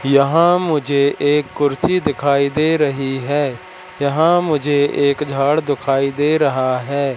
यहां मुझे एक कुर्सी दिखाई दे रही हैं यहां मुझे एक झाड दिखाई दे रहा हैं।